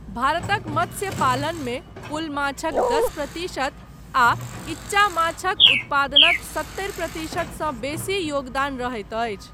भारतक मत्स्य पालनमे कुल माछक दश प्रतिशत आ ईच्चा माछक उत्पादनक सत्तरि प्रतिशत सँ बेसी योगदान रहैत अछि।